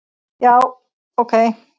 Já, ok